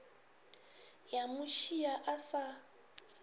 ya mo šia a sa